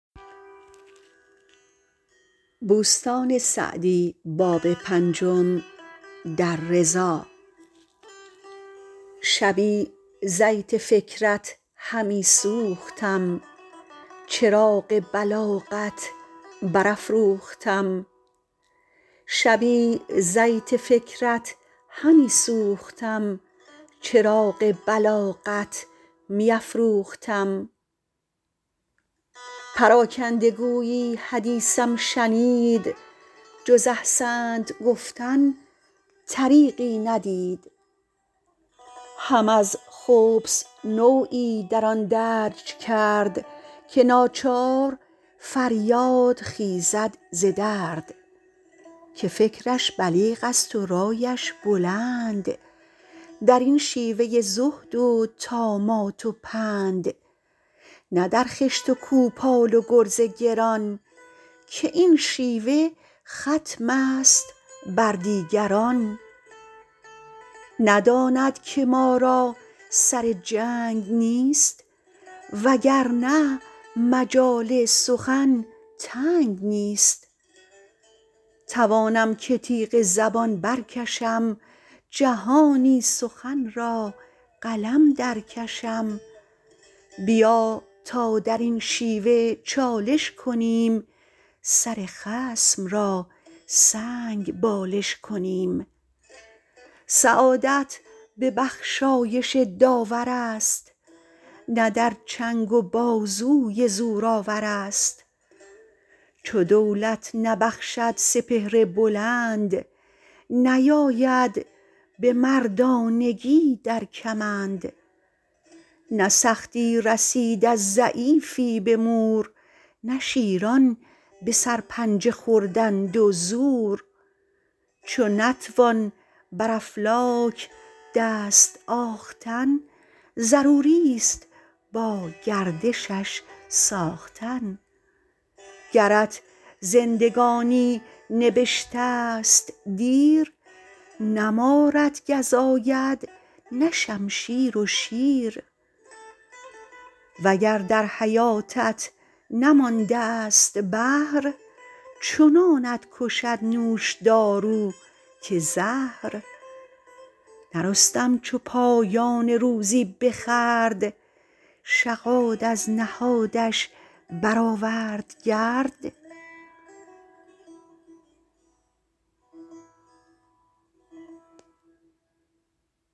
شبی زیت فکرت همی سوختم چراغ بلاغت می افروختم پراکنده گویی حدیثم شنید جز احسنت گفتن طریقی ندید هم از خبث نوعی در آن درج کرد که ناچار فریاد خیزد ز درد که فکرش بلیغ است و رایش بلند در این شیوه زهد و طامات و پند نه در خشت و کوپال و گرز گران که این شیوه ختم است بر دیگران نداند که ما را سر جنگ نیست وگر نه مجال سخن تنگ نیست توانم که تیغ زبان بر کشم جهانی سخن را قلم در کشم بیا تا در این شیوه چالش کنیم سر خصم را سنگ بالش کنیم سعادت به بخشایش داورست نه در چنگ و بازوی زور آورست چو دولت نبخشد سپهر بلند نیاید به مردانگی در کمند نه سختی رسید از ضعیفی به مور نه شیران به سرپنجه خوردند و زور چو نتوان بر افلاک دست آختن ضروری است با گردشش ساختن گرت زندگانی نبشته ست دیر نه مارت گزاید نه شمشیر و شیر وگر در حیاتت نمانده ست بهر چنانت کشد نوشدارو که زهر نه رستم چو پایان روزی بخورد شغاد از نهادش برآورد گرد